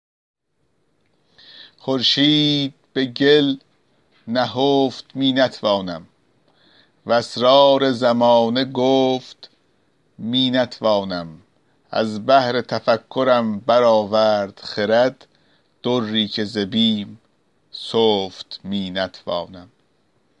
خورشید به گل نهفت می نتوانم و اسرار زمانه گفت می نتوانم از بحر تفکرم برآورد خرد دری که ز بیم سفت می نتوانم